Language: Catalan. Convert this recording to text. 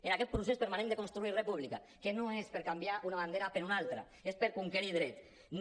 en aquest procés permanent de construir república que no és per canviar una bandera per una altra és per conquerir drets